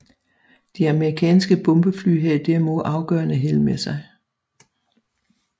De amerikanske bombefly havde derimod afgørende held med sig